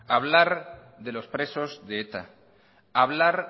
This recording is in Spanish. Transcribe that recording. hablar de los presos de eta hablar